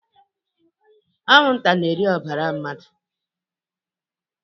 Anwụnta na-eri n'ọbara mmadụ.